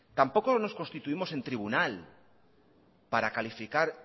tampoco nos constituimos en tribunal para calificar